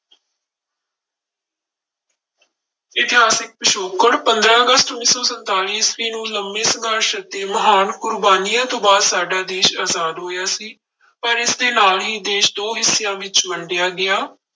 ਇਤਿਹਾਸਿਕ ਪਿਛੋਕੜ, ਪੰਦਰਾਂ ਅਗਸਤ ਉੱਨੀ ਸੌ ਸੰਤਾਲੀ ਈਸਵੀ ਨੂੰ ਲੰਬੇ ਸੰਘਰਸ਼ ਅਤੇ ਮਹਾਨ ਕੁਰਬਾਨੀਆਂ ਤੋਂ ਬਾਅਦ ਸਾਡਾ ਦੇਸ ਆਜ਼ਾਦ ਹੋਇਆ ਸੀ, ਪਰ ਇਸਦੇ ਨਾਲ ਹੀ ਦੇਸ ਦੋ ਹਿੱਸਿਆਂ ਵਿੱਚ ਵੰਡਿਆ ਗਿਆ।